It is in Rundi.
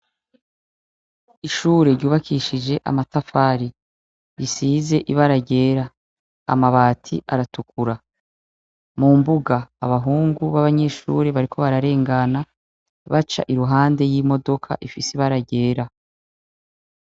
Ishure ryubakishije amatafari. Risize ibara ryera. Amabati aratukura. Mu mbuga abahungu b'abanyeshure bariko bararengana baca iruhande y'imodoka ifise ibara ryera.